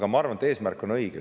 Aga ma arvan, et eesmärk on õige.